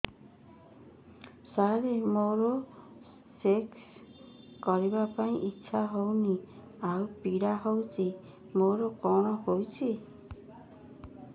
ସାର ମୋର ସେକ୍ସ କରିବା ପାଇଁ ଇଚ୍ଛା ହଉନି ଆଉ ପୀଡା ହଉଚି ମୋର କଣ ହେଇଛି